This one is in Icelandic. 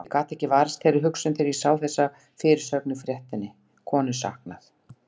Ég gat ekki varist þeirri hugsun þegar ég sá þessa fyrirsögn á fréttinni: Konu saknað.